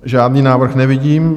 Žádný návrh nevidím.